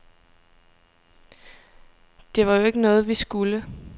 Det var jo ikke noget, vi skulle.